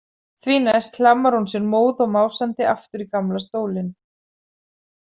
Því næst hlammar hún sér móð og másandi aftur í gamla stólinn.